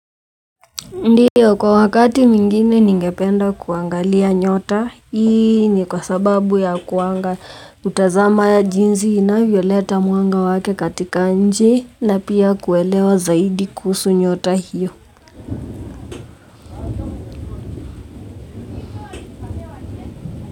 Ndiyo kwa wakati mwngine ningependa kuangalia nyota hii ni kwa sababu ya kuanga utazama jinsi inavyoleta mwanga wake katika nchi na pia kuelewa zaidi kuhusu nyota hiyo.